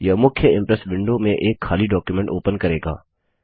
यह मुख्य Impress window में एक खाली डॉक्युमेंट ओपन करेगा